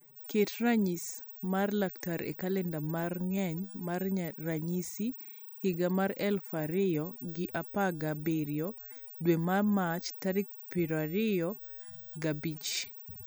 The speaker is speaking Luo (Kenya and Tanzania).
ket ranyis mar laktar e kalenda mar ngeny mar ranyisi higa mar eluf ariyo gi aparga abirio dwe mar mach tarik piero ariyo ga bich